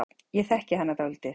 Ég þekki hana dálítið.